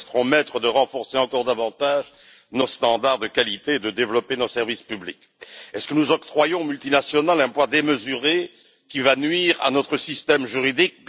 Nous resterons libres de renforcer encore davantage nos normes de qualité et de développer nos services publics. Est ce que nous octroyons aux multinationales un poids démesuré qui va nuire à notre système juridique?